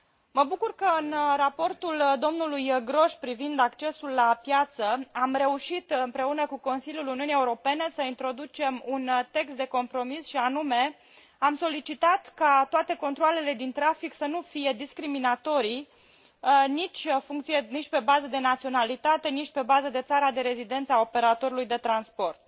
Mă bucur că în raportul domnului Grosch privind accesul la piață am reușit, împreună cu Consiliul Uniunii Europene, să introducem un text de compromis, și anume, am solicitat ca toate controalele din trafic să nu fie discriminatorii nici pe bază de naționalitate, nici pe bază de țara de rezidență a operatorului de transport.